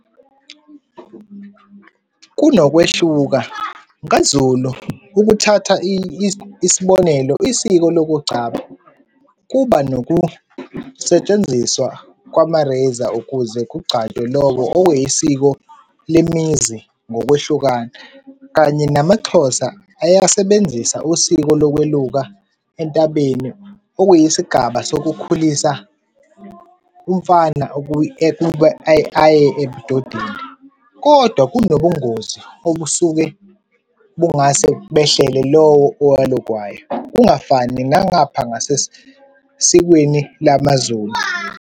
Kunokwehluka, kaZulu ukuthatha isibonelo, isiko lokugcaba kuba nokusetshenziswa kwama-razor ukuze kugcatshwe lowo okuyisiko lemizi ngokwehlukana, kanye namaXhosa ayasebenzisa usiko lokweluka entabeni okuyisigaba sokukhulisa umfana ukuba aye ebudodeni, kodwa kunobungozi obusuke bungase behlele lowo owalukwayo, kungafani nangapha ngasesikweni lamaZulu.